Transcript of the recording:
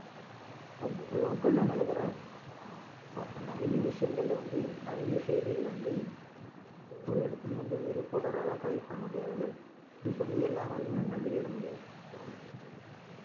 local ல நடக்குற ஆஹ் நிறைய விஷயங்கள்ல வந்து நிறைய செய்திகளை வந்து ஆஹ் ஒவ்வொரு இடத்துலயும் வந்து reporter ஆல collect பண்ண முடியாது news வந்து எல்லாராலயும் அஹ் வெளியிட முடியாது so ஆஹ்